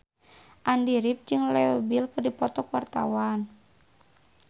Andy rif jeung Leo Bill keur dipoto ku wartawan